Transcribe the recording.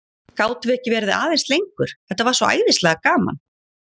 Gátum við ekki verið aðeins lengur, þetta var svo æðislega gaman?